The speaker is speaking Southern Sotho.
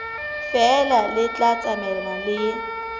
feela le tla tsamaelana le